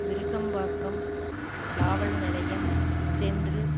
விருகம்பாக்கம் காவல் நிலையம் சென்று